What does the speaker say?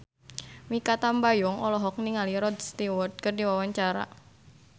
Mikha Tambayong olohok ningali Rod Stewart keur diwawancara